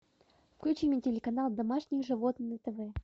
включи мне телеканал домашние животные на тв